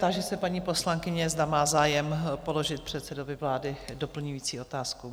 Táži se paní poslankyně, zda má zájem položit předsedovi vlády doplňující otázku?